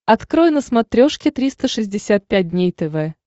открой на смотрешке триста шестьдесят пять дней тв